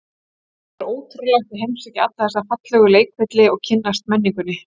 Það verður ótrúlegt að heimsækja alla þessa fallegu leikvelli og kynnast menningunni.